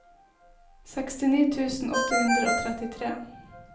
sekstini tusen åtte hundre og trettitre